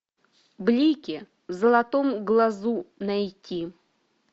блики в золотом глазу найти